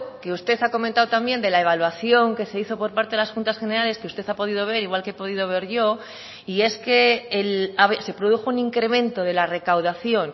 que usted ha comentado también de la evaluación que se hizo por parte de las juntas generales que usted ha podido ver igual que he podido ver yo y es que se produjo un incremento de la recaudación